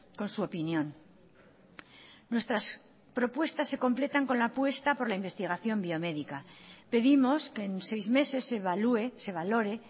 con su opinión nuestras propuestas se completan con la apuesta por la investigación biomédica pedimos que en seis meses se evalúe se valore